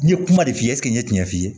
N ye kuma de f'i ye n ye tiɲɛ f'i ye